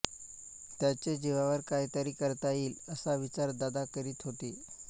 त्याचे जीवावर काहीतरी करता येईल असा विचार दादा करीत होते